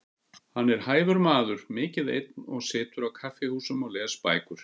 Hann er hæfur maður, mikið einn og situr á kaffihúsum og les bækur.